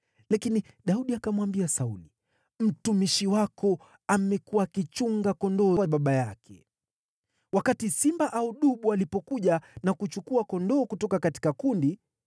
Lakini Daudi akamwambia Sauli, “Mtumishi wako amekuwa akichunga kondoo wa baba yake. Wakati simba au dubu alikuja na kuchukua kondoo kutoka kundi,